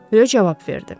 Röv cavab verdi.